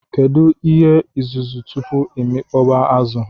Kedu ihe izuzu tupu amikpọba azu?